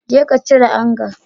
Jeka cire anga